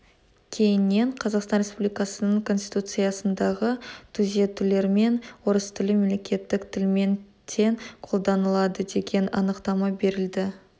кейіннен қазақстан республикасының конституциясындағы түзетулермен орыс тілі мемлекеттік тілмен тең қолданылады деген анықтама берілді